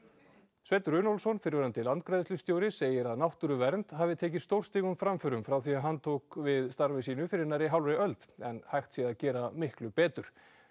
Sveinn Runólfsson fyrrverandi landgræðslustjóri segir að náttúruvernd hafi tekið stórstígum framförum frá því hann tók við starfi sínu fyrir nærri hálfri öld en hægt sé að gera miklu betur